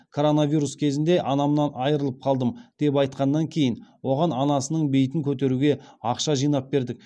коронавирус кезінде анамнан айырылып қалдым деп айтқаннан кейін оған анасының бейітін көтеруге ақша жинап бердік